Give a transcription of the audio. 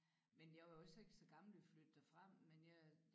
Men jeg var jo så ikke så gammel da vi flyttede derfra men jeg